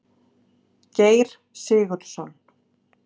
Geir Sigurðsson.